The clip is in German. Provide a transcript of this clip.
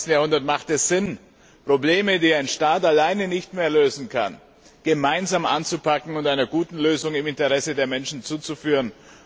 21. Jahrhundert ist es sinnvoll, Probleme, die ein Staat alleine nicht mehr lösen kann, gemeinsam anzupacken und einer guten Lösung im Interesse der Menschen zuzuführen.